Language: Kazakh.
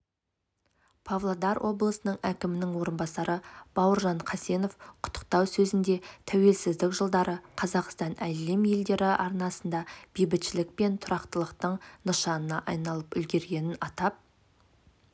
павлодар облысы әкімінің орынбасары бауыржан қасенов құттықтау сөзінде тәуелсіздік жылдары қазақстан әлем елдері арасында бейбітшілік пен тұрақтылықтың нышанына айналып үлгергенін атап